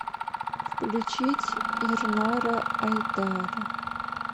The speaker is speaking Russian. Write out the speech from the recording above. включить ернара айдара